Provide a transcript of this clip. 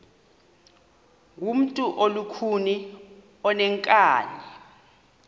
ngumntu olukhuni oneenkani